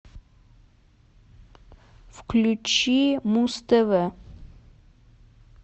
включи муз тв